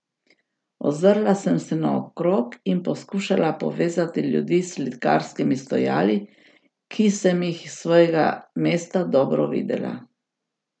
Ozrla sem se naokrog in poskušala povezati ljudi s slikarskimi stojali, ki sem jih s svojega mesta dobro videla.